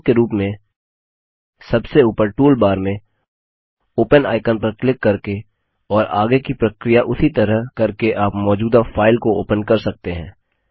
विकल्प के रूप में सबसे ऊपर टूलबार में ओपन आइकन पर क्लिक करके और आगे की प्रक्रिया उसी तरह करके आप मौजूदा फाइल को ओपन कर सकते हैं